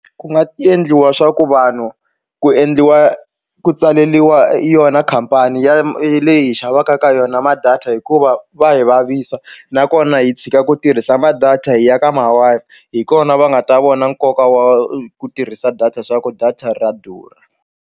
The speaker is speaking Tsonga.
Ku nga endliwa swa ku vanhu ku endliwa ku tsaleliwa yona khampani ya leyi hi xavaka ka yona ma data hikuva va hi vavisa nakona hi tshika ku tirhisa ma data hi ya ka ma Wi-Fi hi kona va nga ta vona nkoka wa ku tirhisa data swa ku data ra durha.